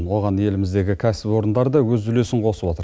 оған еліміздегі кәсіпорындар да өз үлесін қосып отыр